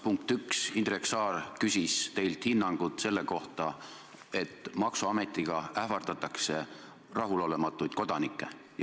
Punkt 1: Indrek Saar küsis teilt hinnangut selle kohta, et maksuametiga ähvardatakse rahulolematuid kodanikke.